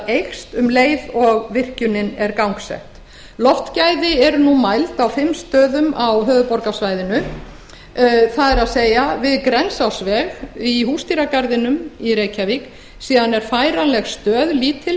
eykst um leið og virkjunin er gangsett loftgæði eru nú mæld á fimm stöðum á höfuðborgarsvæðinu það er við grensásveg í húsdýragarðinum í reykjavík síðan er færanleg lítil